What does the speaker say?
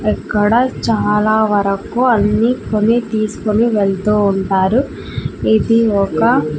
ఇక్కడ చాలా వరకు అన్ని కొని తీసుకొని వెళ్తూ ఉంటారు ఇది ఒక.